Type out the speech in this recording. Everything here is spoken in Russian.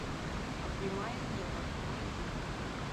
обнимая небо найди